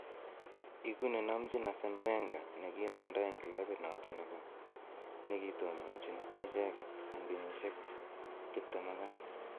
Igu ne nomchin Arsen Wenger ne kiimanda en kilabit noton ne kitononchi icheget en kenyisiek 22.